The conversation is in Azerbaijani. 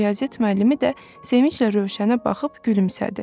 Riyaziyyat müəllimi də sevinclə Rövşənə baxıb gülümsədi.